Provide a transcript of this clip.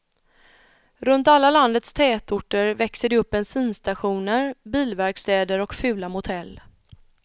Runt alla landets tätorter växer det upp bensinstationer, bilverkstäder och fula motell.